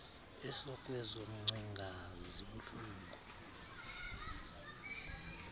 esekwezo ngcinga zibuhlungu